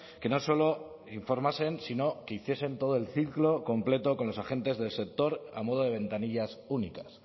que no solo informasen sino que hiciesen todo el ciclo completo con los agentes del sector a modo de ventanillas únicas